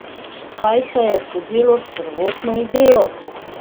Kaj se je zgodilo s prvotno idejo?